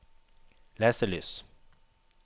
leselys